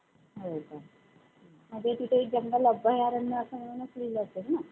त्याच्यामुळे, आणि ह्या वेळेला पाडवा आता या बावीस तारखेला येतो आहे. आणि त्या महिन्यापासून चैत्र हा मास सुरु होतोय.